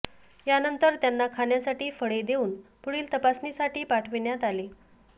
यानंतर त्यांना खाण्यासाठी फळे देऊन पुढील तपासणीसाठी पाठविण्यात आले